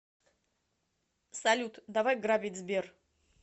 салют давай грабить сбер